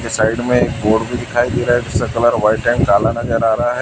ये साइड में बोर्ड भी दिखाई दे रहा है जिसका कलर व्हाइट एंड काला नजर आ रहा है।